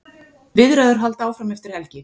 Viðræður halda áfram eftir helgi.